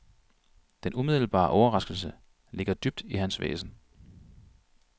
Den umiddelbare overraskelse ligger dybt i hans væsen.